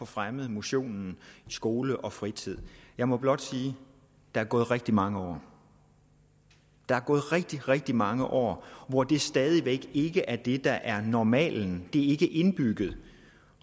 fremme motionen i skole og fritid jeg må blot sige der er gået rigtig mange år der er gået rigtig rigtig mange år hvor det stadig væk ikke er det der er normalen er ikke indbygget